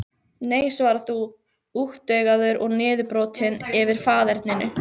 Nei svarar þú, úttaugaður og niðurbrotinn yfir faðerninu.